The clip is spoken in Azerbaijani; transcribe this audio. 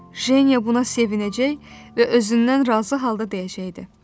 Jeniya buna sevinəcək və özündən razı halda deyəcəkdi: